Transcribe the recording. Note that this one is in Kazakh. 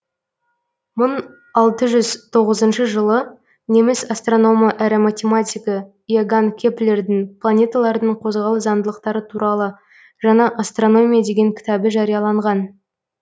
мың алты жүз тоғызыншы жылы неміс астрономы әрі математигі иоганн кеплердің планеталардың қозғалыс заңдылықтары туралы жаңа астрономия деген кітабы жарияланған